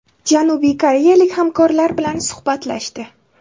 Janubiy koreyalik hamkorlar bilan suhbatlashdi.